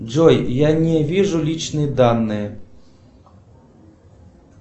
джой я не вижу личные данные